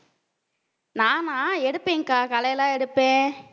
நானா எடுப்பேன்கா களையெல்லாம் எடுப்பேன்.